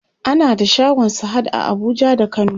ana da shagon sahad a Abuja da kano